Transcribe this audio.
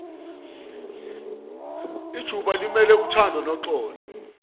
ijubalimele uthando noxolo